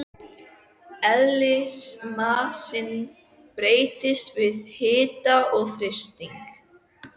Eðlismassinn breytist með hita og þrýstingi.